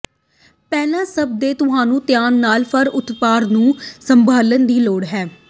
ਪਹਿਲੀ ਸਭ ਦੇ ਤੁਹਾਨੂੰ ਧਿਆਨ ਨਾਲ ਫਰ ਉਤਪਾਦ ਨੂੰ ਸੰਭਾਲਣ ਦੀ ਲੋੜ ਹੈ